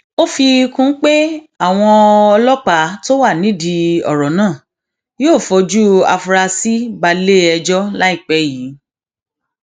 ó fi kún un pé àwọn ọlọpàá tó wà nídìí ọrọ náà yóò fojú àfúrásì balẹẹjọ láìpẹ yìí